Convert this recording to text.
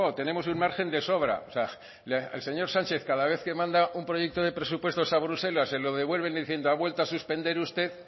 tenemos un margen de sobra o sea el señor sánchez cada vez que manda un proyecto de presupuestos a bruselas se lo devuelven diciendo ha vuelto a suspender usted